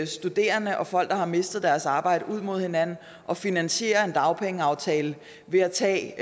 studerende og folk der har mistet deres arbejde ud mod hinanden og finansiere en dagpengeaftale ved at tage